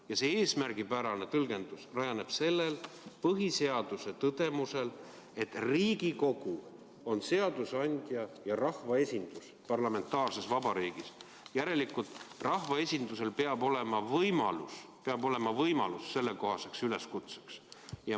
Ja see eesmärgipärane tõlgendus rajaneb sellel põhiseaduse tõdemusel, et Riigikogu on seadusandja ja rahvaesindus parlamentaarses vabariigis, järelikult rahvaesindusel peab olema võimalus sellekohaseks üleskutseks.